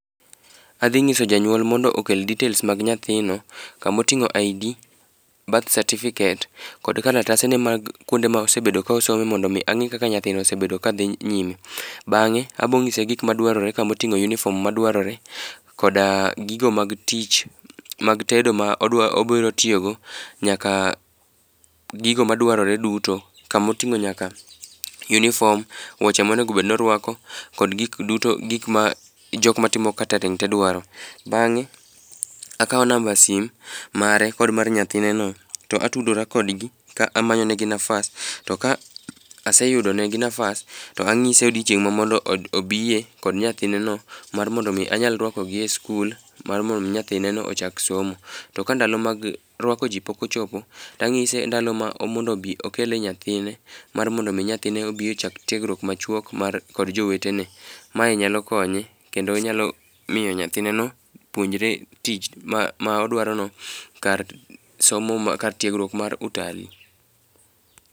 Adhi nyiso janyuol mondo okel details mag nyathino, kama otingó ID, birth cerificate kod kalatase ne mag kuonde ma osebedo ka osome, mondo angí kaka nyathino osebedo ka dhi nyime. Bangé abonyise gik ma dwarore, kamotingó uniform ma dwarore, koda gigo mag tich mag tedo ma odwa, obiro tiyogo, nyaka gigo ma dwarore duto. Ka motingó nyaka uniform, wuoche ma onego bed ni orwako kod gik duto, gik ma jokma timo catering te dwaro. Bangé akawo number simu mare, kod mar nyathine no, to atudora kodgi ka amanyonegi nafas. To ka aseyudo negi nafas, to anyise odiechieng' ma mondo obiye kod nyathineno. Mar mondo omi anyal rwako gi e sikul. Mar mondo omi nyathineno ochak somo. To ka ndalo mag rwako ji pok ochopo, to anyise ndalo ma mondo obi okele nyathine. Mar mondo omi nyathine obi ochak tiegruok machuok mar kod jowetene. Mae nyalo konye kendo nyalo miyo nyathineno puonjore tich ma ma odwarono kar somo mar, kar tiegruok mar Utalii